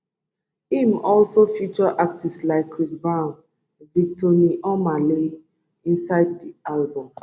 im also feature artistes like chris brown victony omah lay inside di album